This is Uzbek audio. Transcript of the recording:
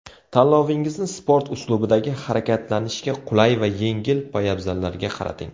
Tanlovingizni sport uslubidagi, harakatlanishga qulay va yengil poyabzallarga qarating.